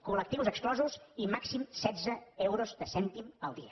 col·lectius exclosos i màxim setze euros de cèntim al dia